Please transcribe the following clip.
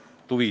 Tänan!